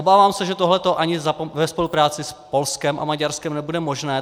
Obávám se, že tohle ani ve spolupráci s Polskem a Maďarskem nebude možné.